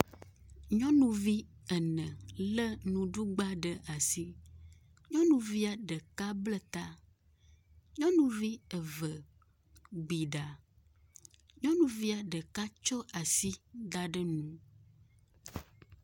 Nyɔnuvi ene le nuɖugba ɖe asi, nyɔnuvia ɖeka bla ta. Nyɔnuvi eve gbi ɖa, nyɔnuvia ɖeka tsɔ asi da ɖe nu.